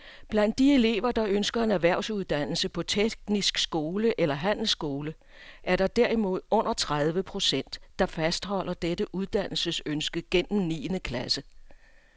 Blandt de elever, der ønsker en erhvervsuddannelse på teknisk skole eller handelsskole, er der derimod under tredive procent, der fastholder dette uddannelsesønske gennem niende klasse.